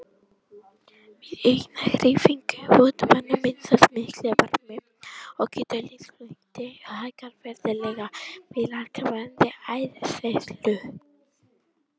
Við aukna hreyfingu vöðvanna myndast mikill varmi og getur líkamshiti hækkað verulega við langvarandi áreynslu.